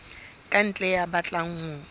ka ntle ya batlang ho